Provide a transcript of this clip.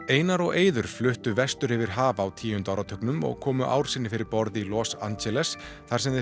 einar og Eiður fluttu vestur yfir haf á tíunda áratugnum og komu ár sinni fyrir borð í Los Angeles þar sem þeir